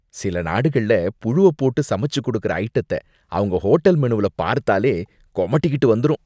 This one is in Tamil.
சில நாடுகள்ல புழுவப்போட்டு சமைச்சு கொடுக்கிற ஐடத்த அவங்க ஹோட்டல் மெனுவுல பார்த்தாலே கொமட்டிகிட்டு வந்துரும்.